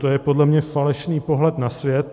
To je podle mě falešný pohled na svět.